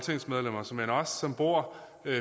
ordet